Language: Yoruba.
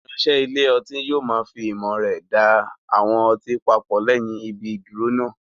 Ìránṣẹ́ ilé ọtí yóò fi ìmọ̀ rẹ̀ da àwọn ọtí papọ̀ lẹ́yìn ibi ìdúró náà.